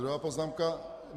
Druhá poznámka.